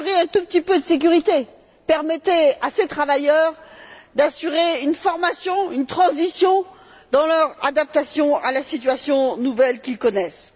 Assurez un tout petit peu de sécurité, permettez à ces travailleurs d'assurer une formation, une transition dans leur adaptation à la situation nouvelle qu'ils connaissent.